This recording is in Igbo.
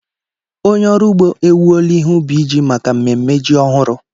Onye ọrụ ugbo ewuola ihe ubi ji maka mmemme ji ọhụrụ.